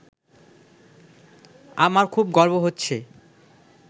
আমার খুব গর্ব হচ্ছে